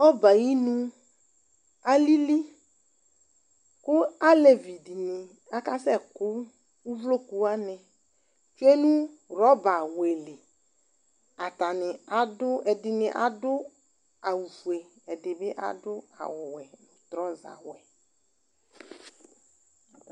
Ɔbɛ yɛ ayinu alili kʋ alevi dɩnɩ akasɛkʋ uvloku wanɩ tsue nʋ rɔbawɛ li Atanɩ adʋ, ɛdɩnɩ adʋ awʋfue, ɛdɩ bɩ adʋ awʋwɛ trɔzawɛ